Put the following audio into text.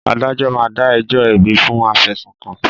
Adájọ́ máa dá ẹjọ́ ẹ̀bi fún afẹ̀sùnkàn